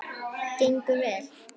Gengur vel?